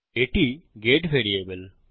এটি get variable